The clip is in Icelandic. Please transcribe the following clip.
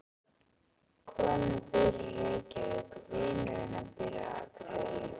Konan býr í Reykjavík. Vinur hennar býr á Akureyri.